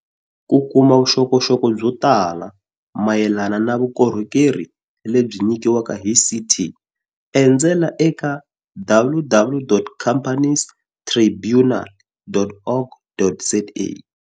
Ku kuma vuxokoxoko byo tala mayelana na vukorhokeri lebyi nyikiwaka hi CT, endzela eka www.compani estribunal.org.za.